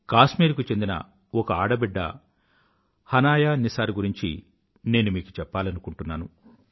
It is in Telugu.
కాశ్మీర్ కు చెందిన ఒక ఆడబిడ్డ హనాయా నిసార్ గురించి నేను మీకు చెప్పాలనుకుంటున్నాను